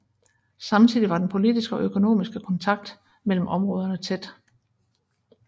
Samtidig var den politiske og økonomiske kontakt mellem områderne tæt